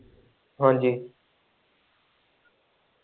ਹਾਂਜੀ।